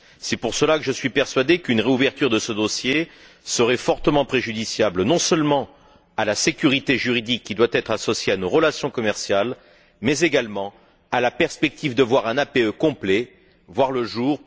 C'est pour cela que je suis persuadé qu'une réouverture de ce dossier serait fortement préjudiciable, non seulement à la sécurité juridique, qui doit être associée à nos relations commerciales, mais, également, à la perspective de voir un APE complet voir le jour.